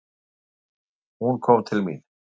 Hún kom til mín.